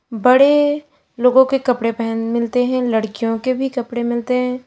बड़े लोगों के कपड़े पहन मिलते हैं लड़कियों के भी कपड़े मिलते हैं।